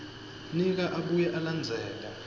nika abuye alandzele